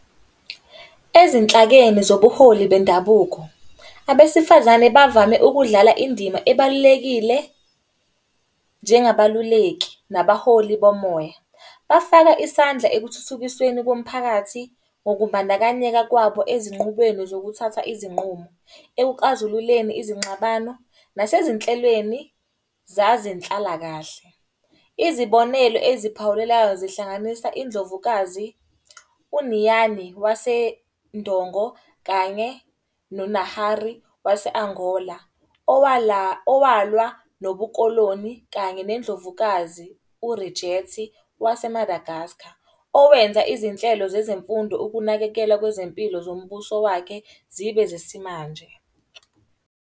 Ezinhlakeni zobuholi bendabuko, abesifazane bavame ukudlala indima ebalulekile njengabaluleki nabaholi bomoya. Bafaka isandla ekuthuthukisweni komphakathi ngokumbandakanyeka kwabo ezinqubweni zokuthatha izinqumo. Ekuxazululeni izingxabano nasezinhlelweni zazenhlalakahle. Izibonelo eziphawulelayo zihlanganisa iNdlovukazi u-Niyane wase-Ndongo kanye no-Nahari wase-Angola. Owalwa nobu-Koloni kanye neNdlovukazi u-Rijethi wase-Madagascar. Owenza izinhlelo zezemfundo, ukunakekelwa kwezempilo zombuso wakhe zibe zesimanje.